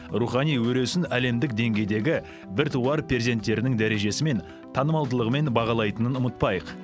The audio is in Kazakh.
рухани өресін әлемдік деңгейдегі біртуар перзенттерінің дәрежесімен танымалдылығымен бағалайтынын ұмытпайық